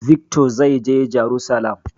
Vikto zai je jarusalam.